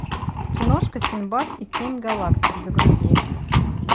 киношка синдбад и семь галактик загрузи